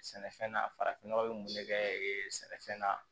Sɛnɛfɛn na farafin nɔgɔ bɛ mun bɛ kɛ sɛnɛfɛn na